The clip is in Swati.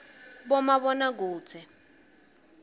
bomabonakudze